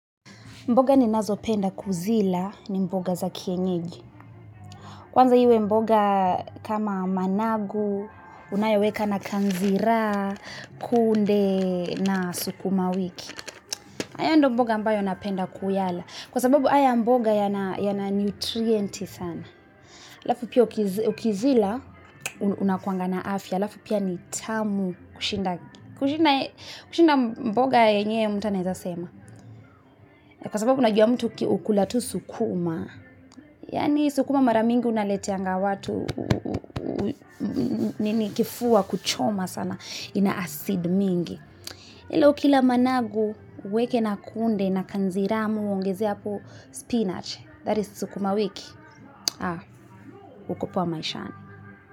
Mboga ninazopenda kuzila ni mboga za kienyeji. Kwanza iwe mboga kama managu, unayoweka na kanzira, kunde na sukuma wiki. Ayo ndo mboga ambayo napenda kuyala. Kwa sababu aya mboga yana yana nutrienti sana. Lafu pia ukiz ukizila unakuangana afya. Lafu pia nitamu kushinda kushinda kushinda mboga yenye mtu anaezasema. Kwa sababu unajua mtu ukikula tu sukuma, yani sukuma mara mingi unaleteanga watu, nini kifua, kuchoma sana, ina acid mingi. Ila ukila managu, uweke na kunde, na kanzira ama uongeze hapo spinach that is sukuma wiki. Aa, uko poa maishani.